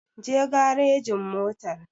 Je garejin motar!